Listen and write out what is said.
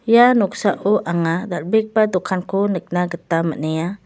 ia noksao anga dal·begipa dokanko nikna gita man·enga.